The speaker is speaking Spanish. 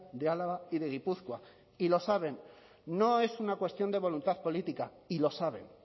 de álava y de gipuzkoa y lo saben no es una cuestión de voluntad política y lo saben